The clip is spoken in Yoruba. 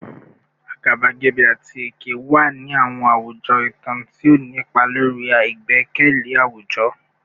Agabagebe ati eke wa ni awọn awujọ itan, ti o ni ipa lori igbẹkẹle awujọ